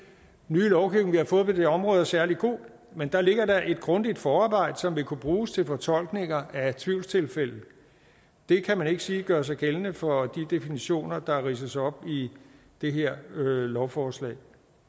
nye lovgivning vi har fået på det område er særlig god men der ligger da et grundigt forarbejde som vil kunne bruges til fortolkninger af tvivlstilfælde det kan man ikke sige gør sig gældende for de definitioner der ridses op i det her lovforslag